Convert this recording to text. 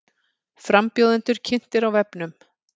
Frambjóðendur kynntir á vefnum